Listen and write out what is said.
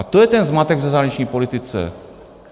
A to je ten zmatek v zahraniční politice.